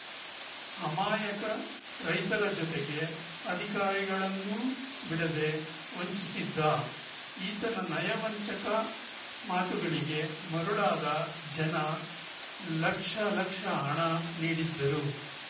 ಅಮಾಯಕ ರೈತರ ಜೊತೆಗೆ ಅಧಿಕಾರಿಗಳನ್ನೂ ಬಿಡದೇ ವಂಚಿಸಿದ್ದ ಈತನ ನಯವಂಚಕ ಮಾತುಗಳಿಗೆ ಮರುಳಾದ ಜನ ಲಕ್ಷ ಲಕ್ಷ ಹಣ ನೀಡಿದ್ದರು